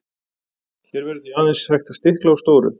hér verður því aðeins hægt að stikla á stóru